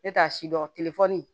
Ne t'a si dɔn telefɔni